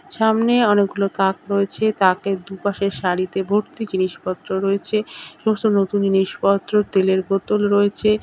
সামনে অনেকগুলো তাক রয়েছে। তাকের দুপাশে সারিতে ভর্তি জিনিসপত্র রয়েছে। এবং সব নতুন জিনিসপত্র তেলের বোতল রয়েছে।